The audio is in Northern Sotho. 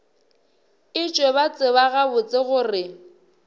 etšwe ba tseba gabotse gore